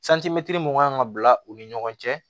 mun kan ka bila u ni ɲɔgɔn cɛ